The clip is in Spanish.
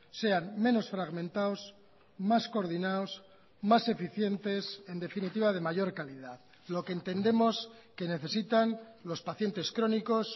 sean menos fragmentados más coordinados más eficientes en definitiva de mayor calidad lo que entendemos que necesitan los pacientes crónicos